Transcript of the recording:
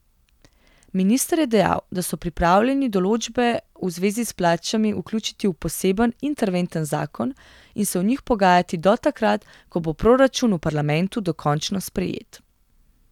Minister je dejal, da so pripravljeni določbe v zvezi s plačami vključiti v poseben, interventen zakon in se o njih pogajati do takrat, ko bo proračun v parlamentu dokončno sprejet.